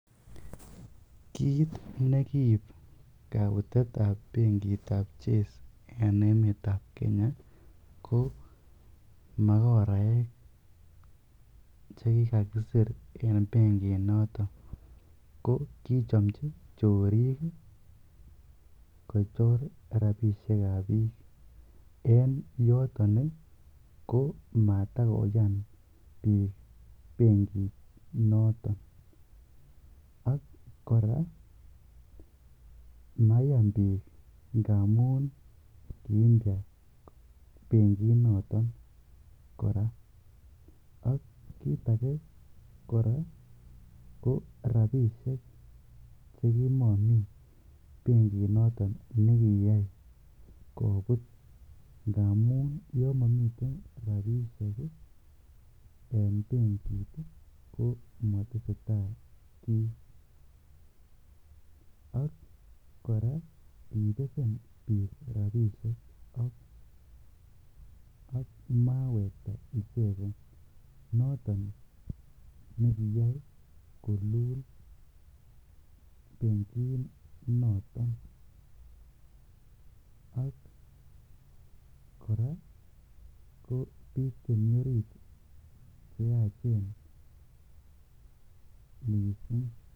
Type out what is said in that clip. Kiit ne kib kobutet ab bengit ab Chase en emet ab Kenya ko magoraek che kigakisir en benginoto, ko kichomchi chorik kochor rabishek ab biik. Ko en yoton komatakoyan biik benginoto. Ak kora mayan biik ngamun kiimpya benginoto. Ak kiit age kora ko rabishek chekimokomi benginoto ne kiyai kobut ngamun yon momiten rabishek en bengit komatesetai kiy. Ak kora kibesen biik rabishek ak mawekta icheget noto nekiyai kolul benginoto. Ak kora ko bik chemi orit che yachen mising.